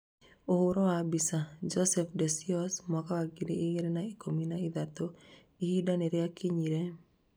Ũhoro wa mbica, Joseph De Sciose mwaka wa ngiri igĩrĩ na ikũmi na ithatũ, ihinda nĩ rĩakinyire.